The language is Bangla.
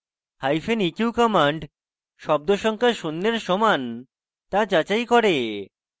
hyphen eq command শব্দ সংখ্যা শূন্যের সমান তা যাচাই করে